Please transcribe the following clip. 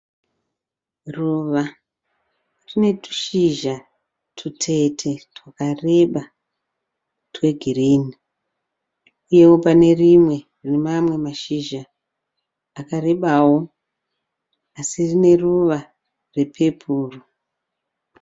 Ruva rine tushizha tutete twakareba twe girini. Iwo pane rimwe pane mamwe mashizha akarebawo asi rine ruva repepuru.